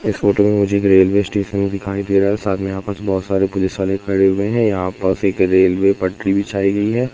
इस फोटो में मुझे एक रेलवे स्टेशन दिखाई दे रहा है साथ में यहां बहोत सारे पुलिस वाले खड़े हुए हैं यहां पास एक रेलवे पटरी बिछाई गई है।